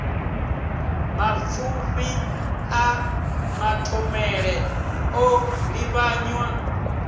mapfufhi a mathomele o livhanywa